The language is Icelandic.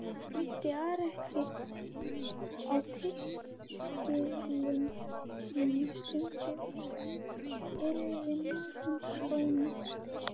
Mætti Ari ekki á tilskilinni stundu yrði mál hans ónýtt.